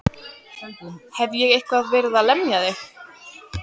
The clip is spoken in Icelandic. Hef ég eitthvað verið að lemja þig?